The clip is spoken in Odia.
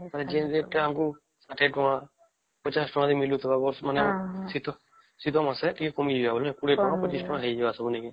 ମାନେ ଯେଣେ ଯେନ କଣ କୁ ୬୦ ଟଙ୍କା ୫୦ନ ଟଙ୍କା ରେ ମିଳୁଥିବା ମାନେ ଶୀତ ଶୀତ ମାସେ ଟିକେ କମିଯିବ ୨୦ ଟଙ୍କା ୨୫ ଟଙ୍କା ହଇଯିବ ସବୁ ନାଇଁ କି